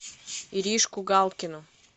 иришку галкину